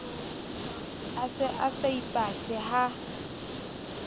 a se a saipatle ha